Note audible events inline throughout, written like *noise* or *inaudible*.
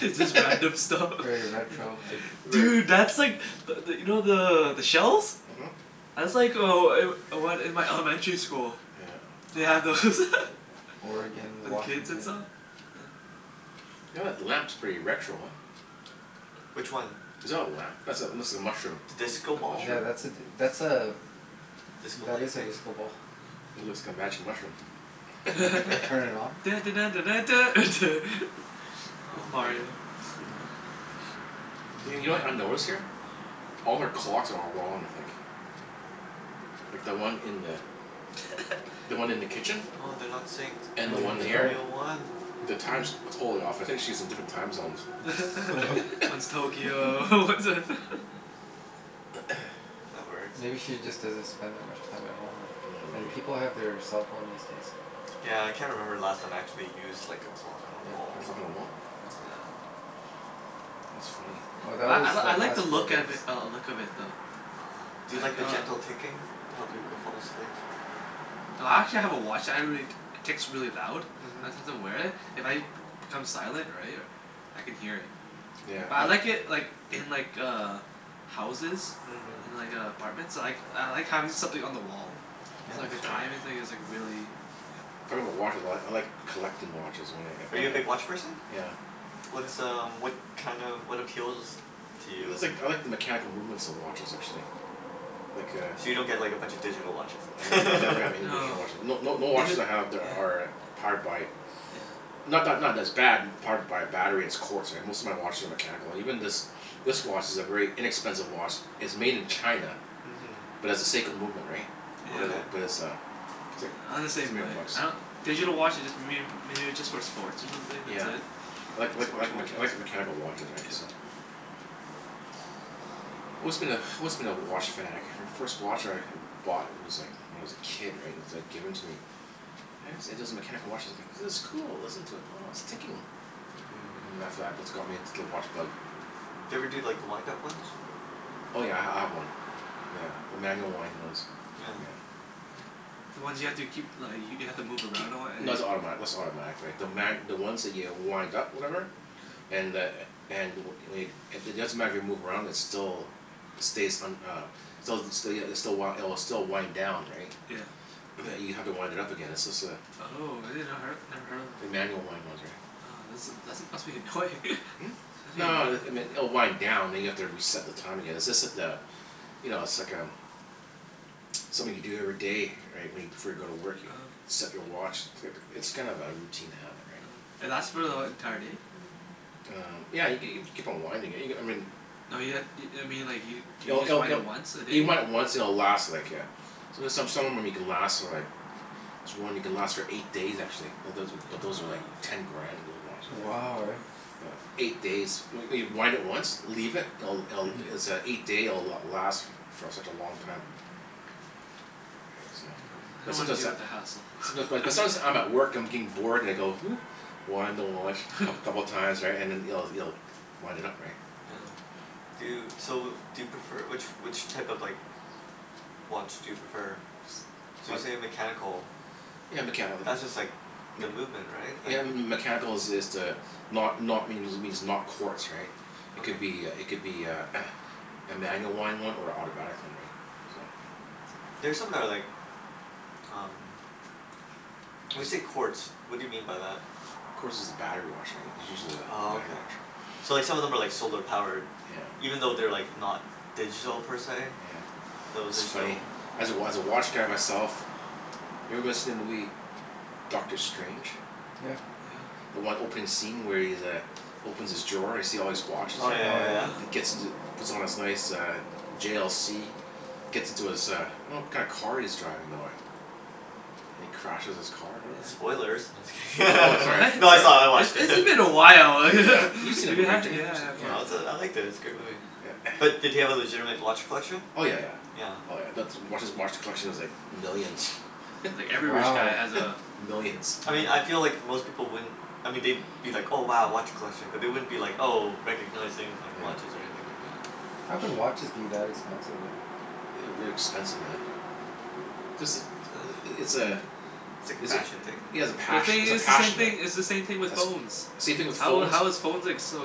It's just random stuff. *laughs* Very Yeah. retro, hey? Th- *laughs* Very Dude, that's like but th- you know the the shells? Mhm. That's like oh I'm one in my elementary school. Yeah uh They had those. *laughs* Aw. Oregon, For the kids and Washington. saw? Yeah. Yeah that lamp's pretty retro, huh? Which one? Is that a lamp? That's a, looks like a mushroom. The disco The ball? Yeah, mushroom? that's a d- that's a Disco that light is a thing? disco ball. Mhm. It looks like a magic mushroom. Yeah. Turn *laughs* it *laughs* *laughs* on? Dun dun dun dun dun duh, duh. *laughs* It's Oh, man. Mario, yeah. *noise* *noise* Y- you know what I notice here? All her clocks are all wrong, I think. Like, the one in the *laughs* the one in the kitchen? Oh, they're not synced. And Which the Oh yeah, one one's th- you're the here? right. real one? The time's Mm. totally off. I think she's in different time zones. *laughs* *laughs* *laughs* *laughs* One's Tokyo, *laughs* one's a *laughs* *noise* That works. Maybe she just doesn't spend that much time at home, right? Yeah, maybe. And people have their cell phone these days. Yeah, I can't remember the last time I actually used like a clock on a Yeah. A wall. clock on the wall? Yeah. That's funny. Oh, that Yeah. I was l- the I like high the school look of days. i- uh look of it though. uh-huh. Do you Like, like the uh gentle ticking to help you go fall asleep? I actually have a watch that I really, t- ticks really loud. Mhm. Sometimes I wear it. If I b- become silent, right? I can hear it. Yeah, But I but like it like in like uh houses. Mhm. In like uh apartments. I like I like having something on the wall. Yeah, So Oh. like a that's true. *noise* timing thing is like really Yeah. Talking about watches a lot. I like collecting watches oh wh- if Are I you a big h- watch person? Yeah. What's um what kind of, what appeals to It's you? like, I like the mechanical movements of watches, actually. Like a So you don't get like a bunch of digital watches I then? have never *laughs* have any digital No. watches. No no no *noise* Yeah. watches I have there are powered by Yeah. Not not not that it's bad powered by a battery it's quartz Most of my watches are mechanical. Even this *noise* this watch is *noise* a very inexpensive watch it's made in China Mhm. but has a Seiko movement, right? But Yeah. Okay. it, but it's a it's Yeah, I'm the like three same hundred way. bucks. I don- Digital watches just mayb- maybe just for sports or something. That's Yeah. it. *noise* Like like Sports like mech- watches. like a mechanical watches, right? Yeah. So Always been a, always been a watch fanatic. My first watch I h- bought was like when I was a kid, right? And it's like given to me. And it's it is mechanical watch as I go, "This is cool. Listen to it. Oh, it's ticking." Mm. And after that that's got me into the watch bug. Do you ever do like the wind-up ones? Oh yeah, I h- I have one. Yeah. A manual wind ones. Yeah. *noise* Yeah. Yeah, the ones you have to keep li- y- you have to K- move kee- around a lot and no like that's automatic, that's not automatic, right? The ma- the *noise* ones that you wind up, whatever? Yeah huh. And the a- and w- wade it doesn't matter if you move around it's still stays un- uh Stelz the still ya it's the w- it'll still wind down, right? Yeah. But you have to wind it up again, it's just a Oh, I did not her- never heard of the them. manual wind ones, *noise* right? Oh, that's a that's must be annoying. Hmm? *laughs* Must be No annoying. it it m- oh wind down and you have to reset the time again. It's just that uh You know, it's like um something you do every day, right? When you, before you go to work, you Oh. set your watch. Click. It's kind of a routine habit, right? Oh. And that's for the e- entire day? Um, yeah y- g- you keep on winding it, you g- I mean No you ha- i- I mean like you do you It'll just it'll wind it'll it once a You day? might once and it'll last like a there's some, some of them you can last for like this one you can last for eight days, actually. It doesn't but those are like Oh, ten okay. Yeah. grand, those watches, right? Wow, right? *noise* Oh. Yeah, eight days. When y- wind it once Leave it. It'll it'll *noise* it's a eight day it'll last for such a long time. Mm. Right? So Mm. I Um But don't wanna sometimes deal that with the hassle. *noise* Someti- but sometimes I'm at *laughs* work, I'm getting bored, and I go *noise* Wind the watch coup- couple of *laughs* times, right? And then you'll you'll wind it up, right? Yeah. Do you, Yeah. so do you prefer, which which type of like watch do you prefer? So I you say mechanical. Yeah, mechani- like That's mm just like the mech- movement, right? Yeah, Like m- m- m- mechanical is is the not not means it means not quartz, right? *noise* It could be a Okay. it could be a *noise* a manual wind one or a autobatic one, right? So There's something that I like um When you Tis- say quartz, what do you mean by that? Quartz is a battery watch, right? It's usually the Oh, battery okay. watch. *noise* So, like some of them are like solar powered? Yeah. Even though they're like not digital, per se? Yeah. Those It's are funny. still As a wa- as a watch guy myself Have you ever watched them Lee Dr. Strange? Yeah. Yeah. The one opening scene where he's uh opens his drawer and you see all these watches Oh, yeah there? Oh yeah yeah. yeah. And it Yeah. gets into puts on his nice uh J l c gets into his uh I don't know what kind of car he's driving though, eh? And he crashes his car or whatever. Yeah. Spoilers. No, just Oh, wait, kidding. sorry. What? *laughs* No, Sorry. it's all, I It's watched it. it's been a while. *laughs* Yeah. *laughs* You've seen the Yeah, movie, yeah right Jimmy? You s- yeah of yeah. course, No, it's a, I yeah. liked it. It's a good movie. Yeah. Yeah. But did *noise* he have a legitimate watch collection? Oh, yeah yeah. Yeah. Yeah. Oh yeah. That's watch, his watch collection is like millions. *noise* Yeah. Yeah, like every rich guy Wow. has a *laughs* Millions. I mean I feel Yeah. like Wow. most people wouldn't I mean they'd be like, "Oh, wow, watch collection." But they wouldn't be like, oh, recognizing like Yeah. watches or anything like that. Mm. How can *noise* watches be that expensive, right? Ooh, they're expensive, man. Just the i- *noise* i- it's a It's like a is it fashion thing, yeah, it's a But the maybe? pash- thing it's a is, it's the same passion, right? thing, it's the same thing with That's phones. same thing with How phones. how is phones ex- so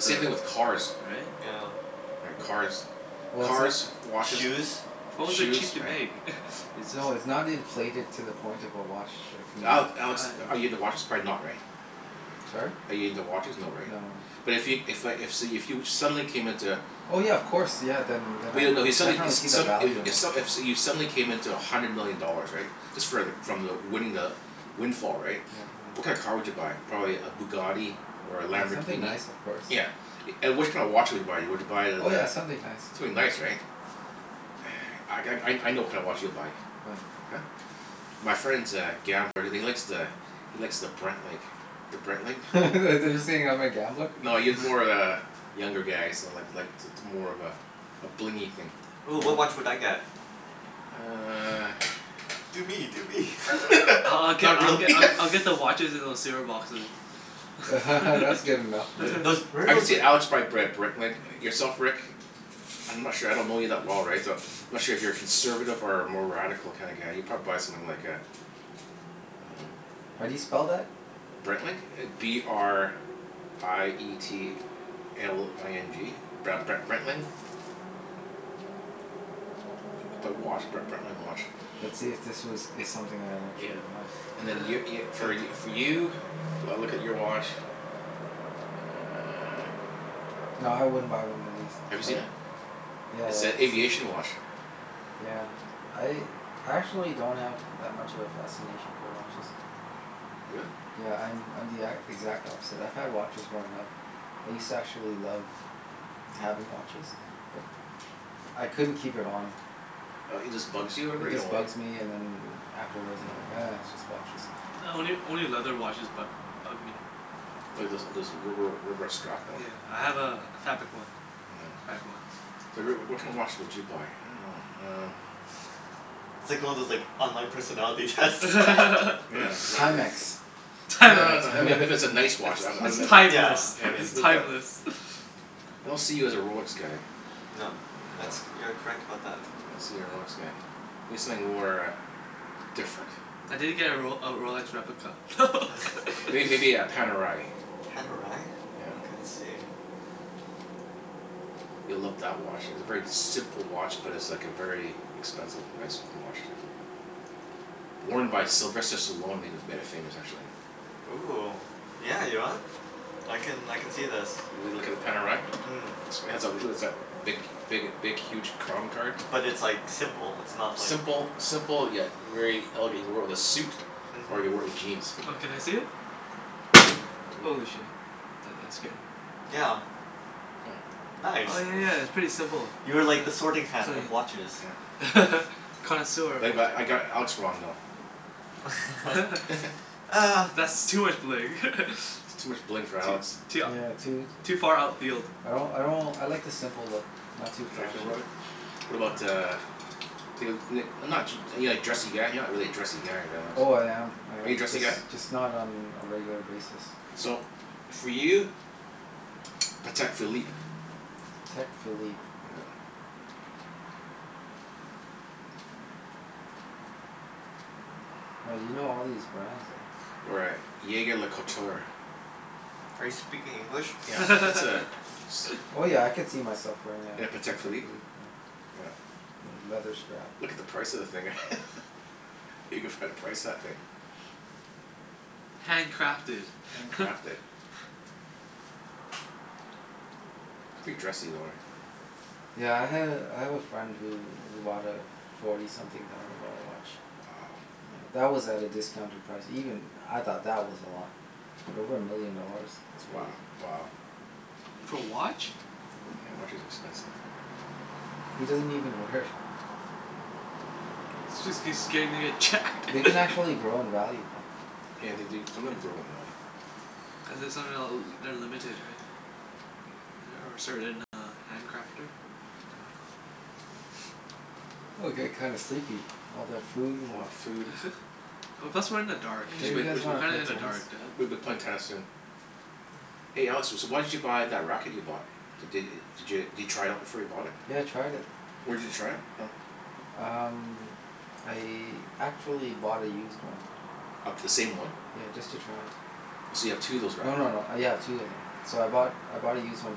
S- same thing with cars. Right? Yeah. Right. W- Cars. Well, it's no- Cars, watches Shoes. Phones are shoes, cheap to right. make. *laughs* It's just No, it's not inflated to the point of a watch that can be Ale- Alex, I are you um into watches? Probably not, right? Sorry? Are you into watches? No, right? No, no. But if yo- if I if so you if you suddenly came into Oh yeah, of course. Yeah, then then But I'd you no if you suddenly e- definitely see s- the some value i- in if it. s- if you suddenly came into a hundred million dollars, right? Just for like from the winning the windfall, right? Yeah. What Mhm. kinda car would you buy? Probably a Bugatti? Or a Yeah, something Lamborghini? nice of course. Yeah. And which kind of watch would you buy? Would you buy the Oh the yeah, something nice, Something yeah. nice, right? *noise* I g- I I know what kinda watch you'll buy. What? Huh? My friend's a gambler and he likes the he likes the Breitling. The Breitling. *laughs* Oh. Are you saying uh-huh. I'm a gambler? No, he's more *laughs* of a *noise* younger guy, so like like it's it's more of a a blingy thing. Ooh, what Oh watch would I yeah. get? You uh Do me! Do me! *laughs* I I I'll *laughs* get Not I'll really. get *laughs* I I'll get the watches in those c r boxes. *laughs* That's good enough for Uh, me. Those, where *laughs* are I could those see like Alex buy a Br- Breitling. Yourself Rick? I'm not sure. I don't know you that well, right? So I'm Mhm. not sure if you're a conservative or a more radical kinda guy. You'd probably buy something like a Um How do you spell that? Breitling? B r i e t l i n g Br- Bre- Breitling. P- put watch, B- Breitling watch. Let's see if *noise* this was is something I'd Yeah. actually buy. And Okay. then y- y- *laughs* Go for ahead, y- for do you? I'll look at your watch Ah Nah, I wouldn't buy one of these. Have you seen Sorry. it? Yeah, It's yeah. a The same aviation features. watch. Yeah. I I actually don't have that much of a fascination for watches. Really? Yeah, I'm I'm the e- exact opposite. I've had watches growing up. I used to actually love having watches. But I couldn't keep it on. Uh it just bugs you or Yeah, whatever? it You don't just like it? bugs me and then *noise* afterwards I'm like Oh. "Ah, it's just watches." Only only leather watches bu- bug me. Well there's there's rubber rubber strap Oh one. yeah, I have a a fabric one. Nyeah. Fabric one. So Rick, w- what kind of watch Yeah. would you buy? I dunno. Um *laughs* It's like one of those like online personality tests. Yeah, *laughs* exactly. Timex. *laughs* You'd buy a No, no, *inaudible* I mean if it Time- if it's a nice It's watch I'd b- I'd it's be *laughs* like Yeah, timeless. I Yeah, mean like It's look at timeless. *noise* I don't see you as a Rolex guy. No. That's, No. you are correct about that. I don't see you a Rolex *noise* guy. Maybe something more uh different. I did get a Rol- a Rolex replica. *laughs* Are *laughs* you It maybe a Panerai? Pan o rye? Yeah. Okay, let's see. You'll love that watch. It's a very simple watch, but it's like a very expensive, nice looking watch, too. Worn by Sylvester Panerai. Stallone made it made it famous, actually. Ooh, yeah, you know what? I can I can see this. You l- look at the Panerai? Mm. Looks pants off it'll is that big big big huge crown card. But it's like simple, it's not like Simple simple yet very elegant. He wore it with a suit. Or you could wear Mhm. it with jeans. *noise* Oh, can I see it? Ooh. Holy shit, that that scared me. Yeah. Yeah. Nice. Oh yeah yeah, it's pretty simple. *noise* You are like the sorting Huh. hat of Clean. watches. Yeah. *laughs* Connoisseur of Like what? but I got Alex wrong, though. *laughs* *laughs* *laughs* Ah That's too much bling. *laughs* Too much bling for Too Alex. too Yeah, too ou- too far outfield I don't, I don't, I like the simple look. Not too You like flashy. simple *inaudible* *noise* What about Yeah. uh Feel it n- not too are you like dressy guy? You're not really *noise* a dressy guy, right Alex? Oh, I am I Are you am. dressy Just guy? just not on a regular basis. So, for you Patek Philippe. Patek Philippe. Yeah. Oh, you know all these brands, eh? *noise* Or a jaeger-lecoultre. Are you speaking English? Yeah. It's a it's *laughs* Oh yeah, I *laughs* a *noise* could see myself wearing In a a Patek Patek Philippe? Philippe, yeah. Yeah. Yeah, leather strap. Look at the price of the thing. *laughs* *noise* You can find a price of that thing. *noise* Hand crafted. Hand *laughs* crafted. Pretty dressy though, eh? Yeah, I had a, I have a friend who who bought a forty something thousand dollar watch. Wow. Yeah. That was at a discounted price. Even I thought that was a lot. *noise* But over a million dollars? That's Wo- crazy. wow. For a watch? Yeah. *noise* Yeah, watch is expensive. He Mm. doesn't even wear it. Jus- cuz scared he's gonna get jacked. They can *laughs* actually grow in value, though. Yeah, they do, some of them Yeah. grow in value. Cuz it somehow l- they're limited, right? Right? Or a certain uh hand crafter? Yeah. *noise* *noise* Oh, I'm getting kind of sleepy. All that food and All that food. *laughs* Well, plus we're in the dark, We Sure should too. you play, guys we should, We're w- wanna kinda play in the tennis? dark duh w- we be playing tennis soon. Oh. Hey Alex, s- so why did you buy that racket you bought? D- d- did you try it out before you bought it? Yeah, I tried it. Where did you try it from? Um, I actually bought a used one. Of the same one? Yeah, just to try. Oh, so you have two of those No rackets no no. now? Yeah, I have two of them. So I bought, I bought a used one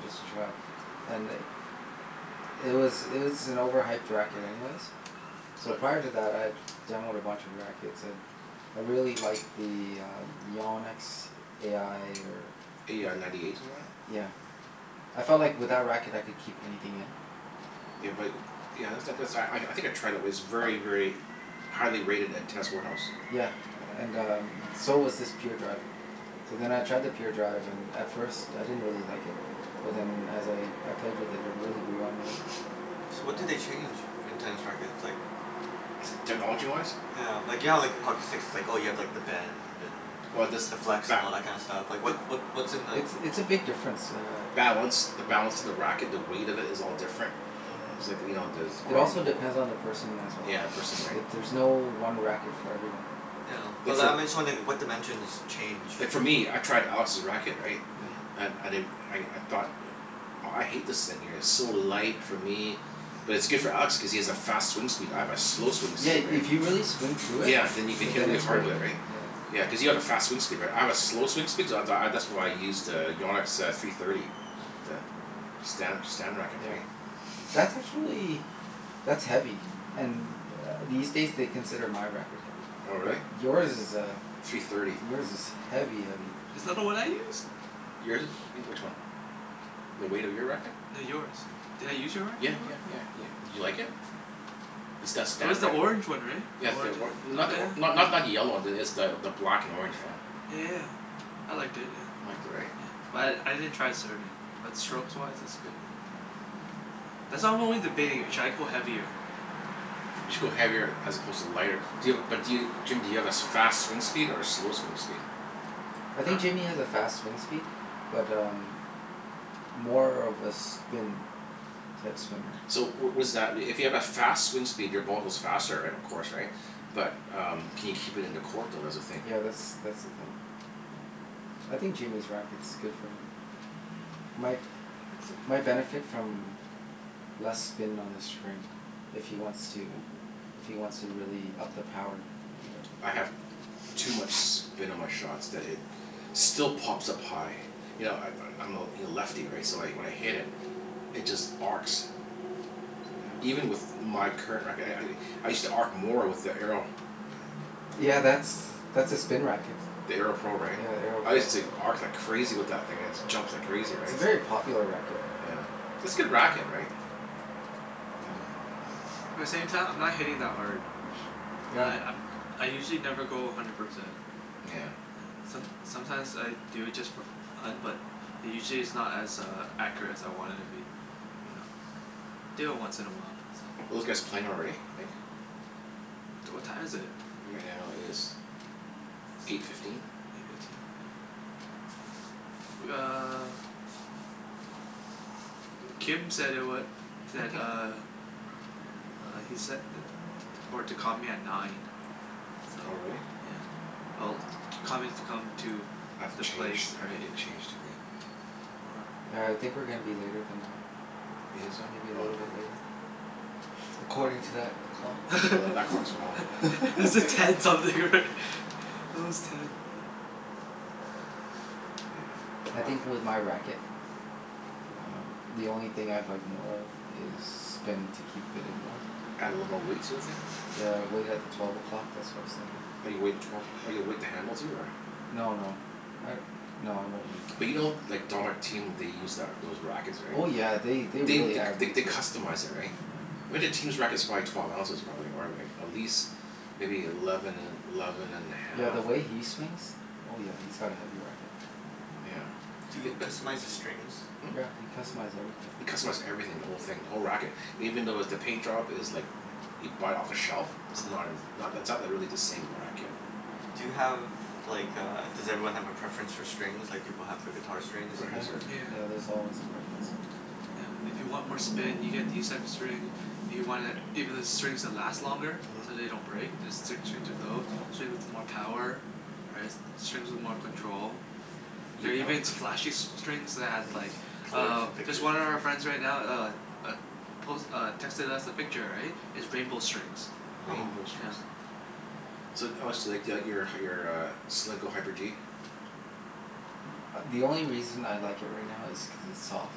just to try. And i- it was it was an overhyped racket anyways. So Uh prior to that I had demoed a bunch of rackets and I really liked the uh Yannick's a i or A i ninety eight, something like that? Yeah. I felt like with that racket I could keep anything in. Yeah but, yeah that's *noise* not, cuz I I think I tried it. It was very, very highly rated at test warehouse. Yeah, and um so was this Pure Drive. So then I tried the Pure Drive and at first, I didn't really like it. But then as *noise* I I played with it, it really grew on me. So, what do they Uh change in tennis rackets? Like technology-wise? Yeah. Like, you know like how hockey sticks it's like, oh you have like the bend and Oh this, the flex, and ba- all that kind of stuff? Like what *noise* what what's in the It's it's a big difference, uh Balance. The Yeah. balance of the racket. The weight of it is all different. Mhm. It's like, you know, there's Yeah. It grommet also hole depends on the person as well. Yeah, the person, right? It, *noise* there's no one racket for everyone. Yeah, but Like, li- for I'm just wondering what dimensions change? Like for me, I tried Alex's racket, right? Yeah. Mhm. And I di- I I thought that aw I hate this thing here. It's so light for me. But it's Mhm. good for Alex cuz he has a fast swing speed. I have a slow swing Yeah, speed, *noise* right? if you really swing through it Yeah, then you can hit then really it's hard great. with it, right? Yeah. Yeah, Mhm. Mm. cuz you have a fast swing speed, right? I have a slow swing speed so th- I that's why I use to Yannick's uh three thirty. The Stan Stan racket, Yeah. right? That's *noise* actually that's heavy. And uh these days they consider my racket heavy. Oh, But really? yours is uh, Three thirty. yours is heavy heavy. Is that the one I use? Yours is e- which one? The weight of your racket? No, yours. Did I use your Yeah racket before? yeah Huh. yeah yeah. Did you like it? The St- It was Stan the rack- orange one, right? The Yeah the orange or- and, oh not the or- yeah. not not the yellow one. It's the the black and orange, yeah. Yeah yeah yeah. I liked it, yeah. You liked it, right? Yeah. But I I didn't try it serving. But strokes-wise it's good, yeah. Yeah. That's I'm only debating. Should I go heavier? You should go heavier as opposed to lighter. Do you have a, but do you, Jim do you have as fast swing speed *noise* or a slow swing speed? I Huh? think Jimmy has a fast swing speed. But um more of a spin type swinger. So w- was that i- if you have a fast swing speed your ball goes faster, right, of course, right? But um can you keep it in the court though? That's the thing. Yeah, that's that's the thing. I think Jimmy's racket's good for him. My my benefit *laughs* from less spin on the string. If he wants Hmm. to if he wants to really up the power, Mm. *noise* right? I have too much *noise* spin on my shots that it still pops up high. You know I- I'm I'm a l- lefty, right? So wh- when I hit it it just arcs. Yeah. Even with my current racket. I I I I used to arc more with the Arrow. Yeah, that's that's a spin racket. The Arrow Pro, right? Yeah, the Arrow I Pro. used to arc like crazy with that thing. It just jumps like crazy, It's right? a very *noise* popular racket. Yeah. It's good racket, right? Yeah. Yeah. But at the same time, I'm not hitting that hard. *noise* Yeah. Li- I'm I usually never go a hundred percent. Nyeah. Yeah. Som- sometimes I do it just for f- fun, but usually it's not as uh accurate as I want it to be. Mm. So, do it once in a while. So Are those guys playing already, you think? D- what time is it? Right now it is eight fifteen. Eight fifteen? Yeah. W- uh *noise* Kim said it wa- that *laughs* uh uh he said i- t- for to call me at nine. So, Oh, really? yeah. Well to call me to come to I have to the place, change, I have to right? get Yeah. changed here, Yeah. right? All right. Yeah, I think we're gonna be later than nine. You think Maybe a so? Oh. little bit later? According to that clock. Well th- that clock's wrong. *laughs* Is it *laughs* ten something, right? It was ten. I Yeah, aw think I with my racket um the only thing I'd like more of is spin to keep it in more. Add a little more Mm. weight sort of thing? Yeah, *noise* weight at the twelve o'clock, that's what I was thinking. Oh, you weight at *noise* twelve oh, you weight the handle too, or No no. I, no, I won't weight the But you know handles. like *inaudible* what they use that those rackets, right? Oh yeah, they they They really th- add th- weight they to it. customize it, right? Yeah. I bet that team's racket's probably twelve ounces probably, or like at least maybe eleven and eleven and a Yeah, half, the or way he swings Oh yeah, he's got a heavy racket. Yeah. Do I- uh you but customize the strings? Hmm? Yeah, you can customize everything. You customize everything. The whole thing. The whole racket. *noise* Even though with the paint job is like Yeah. you buy it off the shelf. It's uh-huh. not as, not that's not really the same racket. Do you have like a, does everyone have a preference for strings like people have for guitar strings? Everybody Yeah. has their Yeah. Yeah, there's always a preference. Yeah. If you want more spin you get these type of string If you want it, even the *noise* strings that last longer. Mhm. So they don't break. There's s- strings of tho- Strings with more power. Right? S- strings with more control. You There are oh even s- flashy s- strings that have like Colors uh, and just pictures one and of our stuff? friends right now uh uh, pos- uh, texted us a picture, right? Is rainbow strings. Oh. Rainbow Yeah. strings. So oh so you like the out your uh your uh Solinco Hyper G? A- the only reason I like it right now is cuz it's soft.